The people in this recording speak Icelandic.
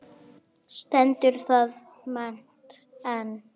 Stendur það met enn.